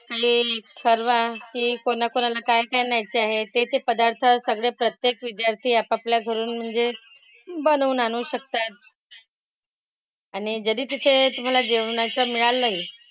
Plan ठरवा की कोणाकोणाला काय काय न्यायाचे आहेत ते ते पदार्थ सगळे प्रत्येक विद्यार्थी आपापल्या घरून म्हणजे बनवून आणू शकतात. आणि जरी तिथे तुम्हाला जेवणाचं मिळालंही,